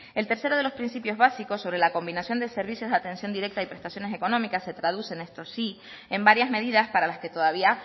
el tercero de los principios básicos sobre la combinación de servicios de atención directa y prestaciones económicas se traducen esto sí en varias medidas para las que todavía